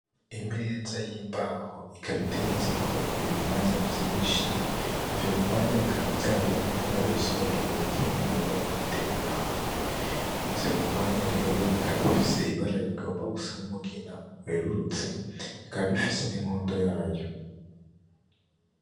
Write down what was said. Imeza y'imbaho, ikaba iteretseko ibihwanya vyinshi, ivyo bihwanya bikaba vyarumye barabisoromye igihe kininiya babitereka ahantu, ivyo bihwanya rero bikaba bifise ibara rigomba gusa n'umugina werurutse bikaba bifise n'inkondo yayo.